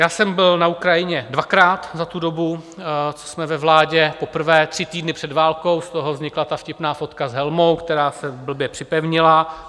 Já jsem byl na Ukrajině dvakrát za tu dobu, co jsme ve vládě, poprvé tři týdny před válkou, z toho vznikla ta vtipná fotka s helmou, která se blbě připevnila.